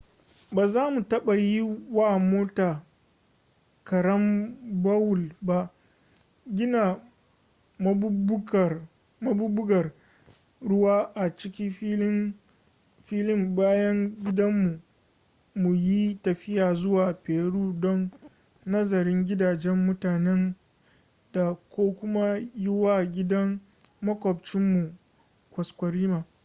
ba za mu taɓa yi wa mota garambawul ba gina maɓuɓɓugar ruwa a ciki filin bayan gidan mu mu yi tafiya zuwa peru don nazarin gidajen mutanen dā ko kuma yi wa gidan maƙwabtcin mu kwaskwarima